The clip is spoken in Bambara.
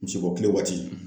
Misi bɔ kile waati